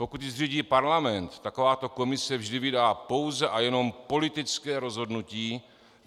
Pokud ji zřídí parlament, takováto komise vždy vydá pouze a jenom politické rozhodnutí.